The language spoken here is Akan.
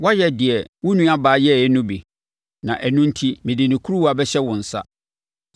Woayɛ deɛ wo nuabaa yɛeɛ no bi; na ɛno enti mede ne kuruwa bɛhyɛ wo nsa.